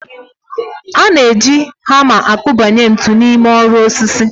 A na-eji hama akubanye ntu n'ime oru osisi.